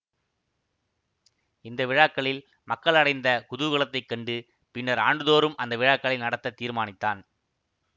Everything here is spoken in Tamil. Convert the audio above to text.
இந்த விழாக்களில் மக்கள் அடைந்த குதூகலத்தைக் கண்டு பின்னர் ஆண்டுதோறும் அந்த விழாக்களை நடத்த தீர்மானித்தான்